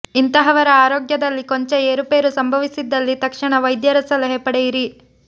ಇಂತಹವರ ಆರೋಗ್ಯದಲ್ಲಿ ಕೊಂಚ ಏರುಪೇರು ಸಂಭವಿಸಿದಲ್ಲಿ ತಕ್ಷಣ ವೈದ್ಯರ ಸಲಹೆ ಪಡೆಯಿರಿ